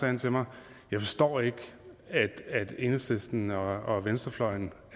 han til mig jeg forstår ikke at enhedslisten og venstrefløjen